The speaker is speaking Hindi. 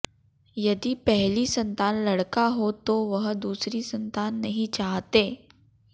यदि पहली संतान लड़का हो तो वह दूसरी संतान नहीं चाहते